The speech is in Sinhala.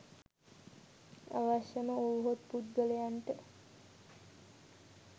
අවශ්‍යම වුවහොත් පුද්ගලයන්ට